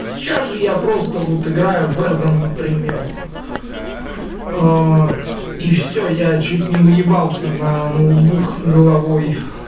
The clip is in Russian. сейчас же я просто вот играю вердан например и всё я чуть не уебался на ноутбук головой